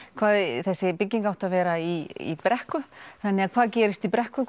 en þessi bygging átti að vera í brekku þannig hvað gerist í brekku